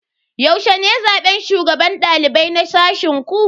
Yaushe ne zaben shugaban dalibai na sashen ku?